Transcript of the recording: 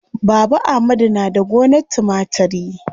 Baba amadu na da gonar timatiri.